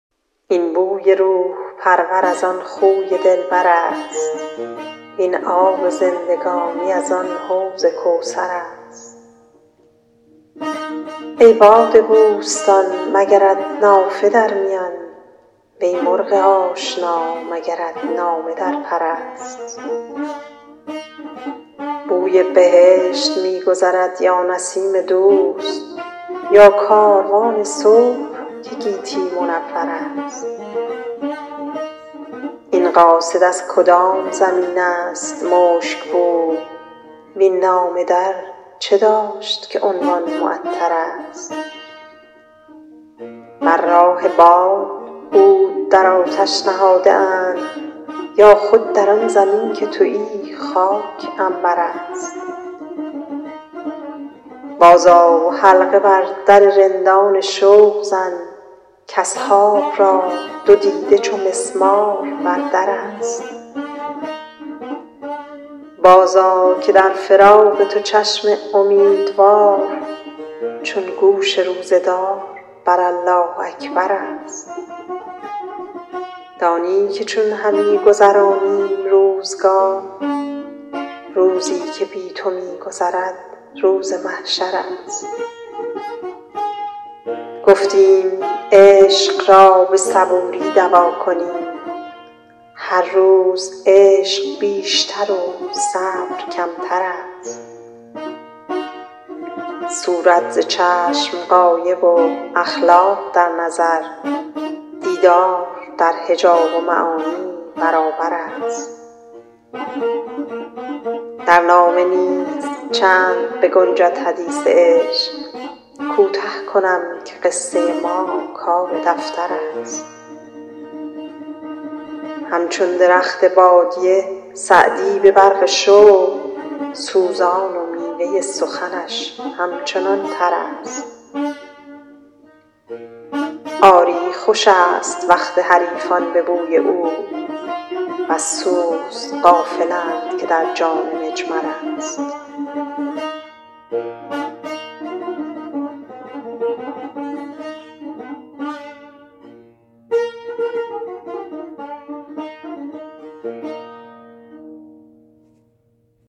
این بوی روح پرور از آن خوی دلبر است وین آب زندگانی از آن حوض کوثر است ای باد بوستان مگرت نافه در میان وی مرغ آشنا مگرت نامه در پر است بوی بهشت می گذرد یا نسیم دوست یا کاروان صبح که گیتی منور است این قاصد از کدام زمین است مشک بوی وین نامه در چه داشت که عنوان معطرست بر راه باد عود در آتش نهاده اند یا خود در آن زمین که تویی خاک عنبر است بازآ و حلقه بر در رندان شوق زن کاصحاب را دو دیده چو مسمار بر در است بازآ که در فراق تو چشم امیدوار چون گوش روزه دار بر الله اکبر است دانی که چون همی گذرانیم روزگار روزی که بی تو می گذرد روز محشر است گفتیم عشق را به صبوری دوا کنیم هر روز عشق بیشتر و صبر کمتر است صورت ز چشم غایب و اخلاق در نظر دیدار در حجاب و معانی برابر است در نامه نیز چند بگنجد حدیث عشق کوته کنم که قصه ما کار دفتر است همچون درخت بادیه سعدی به برق شوق سوزان و میوه سخنش همچنان تر است آری خوش است وقت حریفان به بوی عود وز سوز غافلند که در جان مجمر است